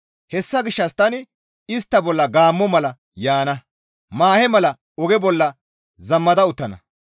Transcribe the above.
Hessa gishshas tani istta bolla gaammo mala yaana; maahe mala oge bolla zamada uttana.